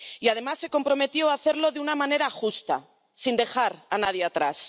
Y además, se comprometió a hacerlo de una manera justa, sin dejar a nadie atrás.